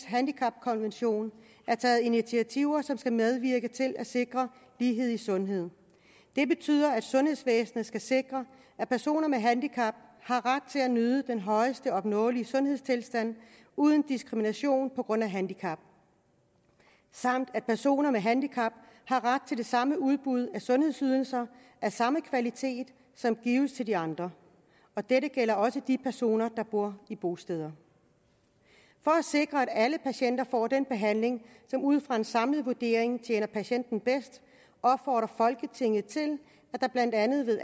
handicapkonvention er taget initiativer som skal medvirke til at sikre lighed i sundhed det betyder at sundhedsvæsenet skal sikre at personer med handicap har ret til at nyde den højeste opnåelige sundhedstilstand uden diskrimination på grund af handicap samt at personer med handicap har ret til det samme udbud af sundhedsydelser af samme kvalitet som gives til andre dette gælder også de personer der bor i bosteder for at sikre at alle patienter får den behandling som ud fra en samlet vurdering tjener patienter bedst opfordrer folketinget til at der blandt andet ved